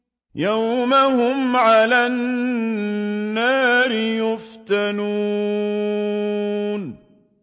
يَوْمَ هُمْ عَلَى النَّارِ يُفْتَنُونَ